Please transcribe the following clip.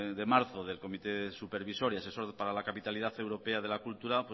de marzo del comité supervisor y asesor para la capitalidad europea de la cultura